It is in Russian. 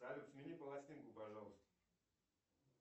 салют смени пластинку пожалуйста